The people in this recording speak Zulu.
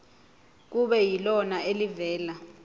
kube yilona elivela